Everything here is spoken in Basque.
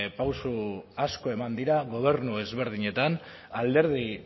pauso asko eman dira gobernu ezberdinetan alderdi